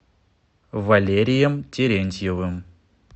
валерием терентьевым